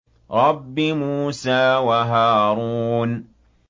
رَبِّ مُوسَىٰ وَهَارُونَ